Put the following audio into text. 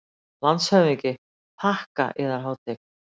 LANDSHÖFÐINGI: Þakka, Yðar Hátign.